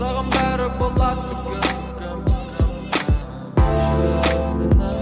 саған бәрі болады бүгін бүгін